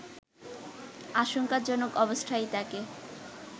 আশঙ্কাজনক অবস্থায় তাকে